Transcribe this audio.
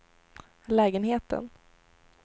lägenheten